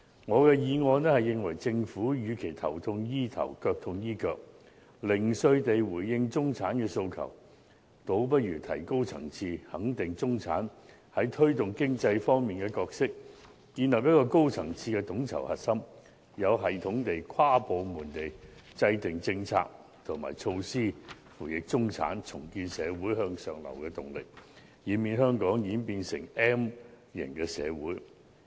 我的議案認為，政府與其頭痛醫頭、腳痛醫腳，零碎地回應中產的訴求，倒不如提高層次，肯定中產在推動經濟方面的角色，建立一個高層次的統籌核心，有系統地、跨部門地制訂政策和措施輔翼中產，重建社會向上流的動力，以免香港演變成 M 型社會。